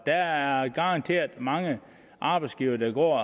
der er garanteret mange arbejdsgivere der går